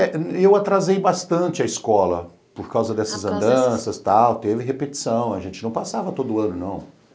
É, eu atrasei bastante a escola por causa dessas andanças, tal, teve repetição, a gente não passava todo ano, não.